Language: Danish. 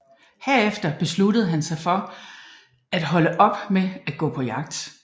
Herefter besluttede han sig for at holde op med at gå på jagt